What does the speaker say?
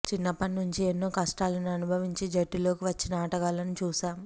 చిన్నప్పటి నుంచి ఎన్నో కష్టాలను అనుభవించి జట్టులోకి వచ్చిన ఆటగాళ్లను చూశాం